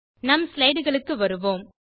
நம் ஸ்லைடுகளுக்கு வருவோம்